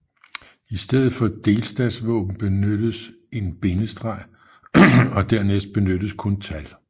I stedet for delstatsvåben benyttes en bindestreg og dernæst benyttes kun tal